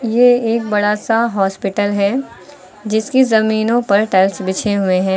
ये एक बड़ा सा हॉस्पिटल है जिसके जमीनों पर टाइल्स बिछे हुए हैं।